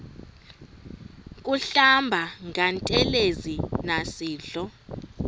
kuhlamba ngantelezi nasidlo